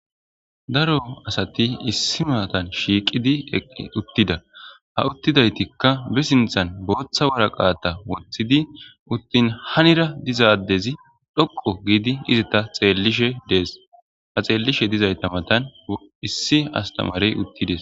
Daro asati issi matan shiiqidi eq uttida ha uttidaytikka be sinthan booththa waraqaata wothidi uttin hanira dizaadezi dhoqo giidi izita xeellishe dees ha xeellishe dizayta matan issi astamarey uttides